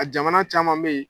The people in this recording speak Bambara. A jamana caman be ye